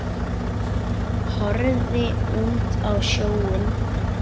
Horfði út á sjóinn.